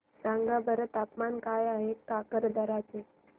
सांगा बरं तापमान काय आहे काकरदरा चे